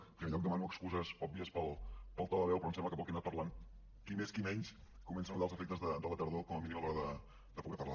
en primer lloc demano excuses òbvies pel to de veu però em sembla que pel que he anat parlant qui més qui menys comença a notar els efectes de la tardor com a mínim a l’hora de poder parlar